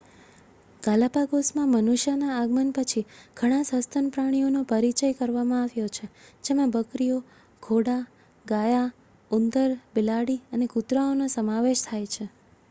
ગાલાપાગોસમાં મનુષ્યના આગમન પછી ઘણા સસ્તન પ્રાણીઓનો પરિચય કરવામાં આવ્યો છે જેમાં બકરીઓ ઘોડા ગાયા ઉંદર બિલાડી અને કૂતરાઓનો સમાવેશ થાય છે